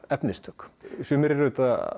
efnistök sumir eru